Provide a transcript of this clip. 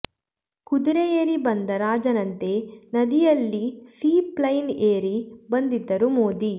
ಕುದುರೆಯೇರಿ ಬಂದ ರಾಜನಂತೆ ನದಿಯಲ್ಲಿ ಸೀ ಪ್ಲೈನ್ ಯೇರಿ ಬಂದಿದ್ದರು ಮೋದಿ